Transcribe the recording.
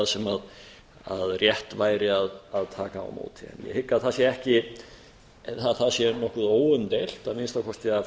það sem rétt væri að taka á móti en ég hygg að það sé nokkuð óumdeilt að minnsta kosti af